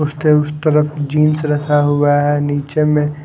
उसके उस तरफ जींस रखा हुआ है नीचे में--